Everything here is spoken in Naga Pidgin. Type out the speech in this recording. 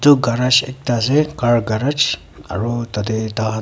etu garage ekta car garage aru tarte tar khan--